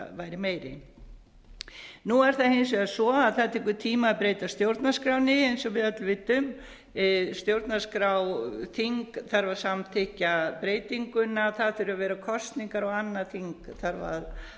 væri meiri nú er það hins vegar svo að það tekur tíma að breyta stjórnarskránni eins og við öll vitum stjórnarskrárþing þarf að samþykkja breytinguna það þurfa að vera kosningar og annað þing þarf